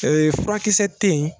Ɛɛ furakisɛ tɛ yen